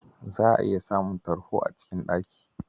Za'a iya samun tarho a cikin ɗaki.